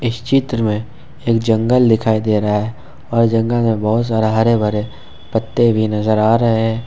चित्र में एक जंगल दिखाई दे रहा है और जंगल में बहुत सारा हरे भरे पत्ते भी नजर आ रहे हैं ।